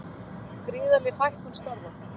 Gríðarleg fækkun starfa